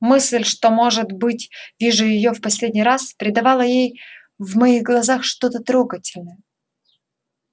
мысль что может быть вижу её в последний раз придавала ей в моих глазах что-то трогательное